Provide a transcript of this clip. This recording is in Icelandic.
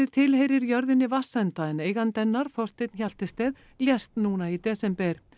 tilheyrir jörðinni Vatnsenda en eigandi hennar Þorsteinn Hjaltested lést núna í desember